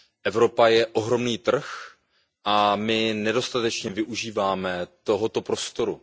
Evropa je ohromný trh a my nedostatečně využíváme tohoto prostoru.